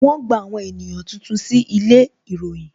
Wọn gba àwọn ènìyàn tuntun sí ilé ìròyìn